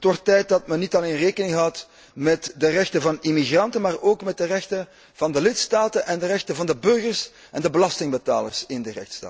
Het wordt tijd dat men niet alleen rekening houdt met de rechten van immigranten, maar ook met de rechten van de lidstaten en de rechten van de burgers en de belastingbetalers in de lidstaten.